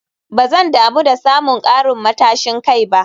Ba zan damu da samun karin matashin kai ba